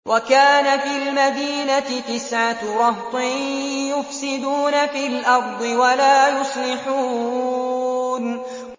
وَكَانَ فِي الْمَدِينَةِ تِسْعَةُ رَهْطٍ يُفْسِدُونَ فِي الْأَرْضِ وَلَا يُصْلِحُونَ